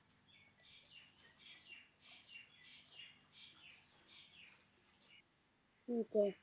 ਠੀਕ ਹੈ